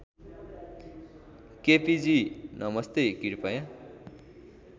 KPG नमस्ते कृपया